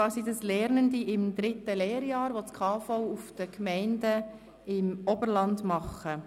Es sind Lernende im dritten Lehrjahr, die eine kaufmännische Lehre (KV) bei den Gemeinden im Oberland durchlaufen.